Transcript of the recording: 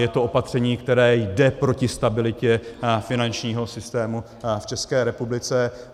Je to opatření, které jde proti stabilitě finančního systému v České republice.